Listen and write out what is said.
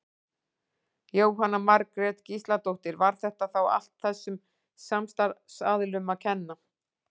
Jóhanna Margrét Gísladóttir: Var þetta þá allt þessum samstarfsaðilum að kenna?